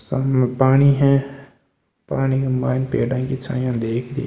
सामने पानी है पानी के मायने पेड़ा की छाया देख री है।